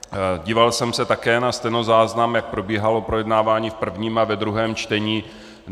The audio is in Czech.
Díval jsem se také na stenozáznam, jak probíhalo projednávání v prvním a ve druhém čtení.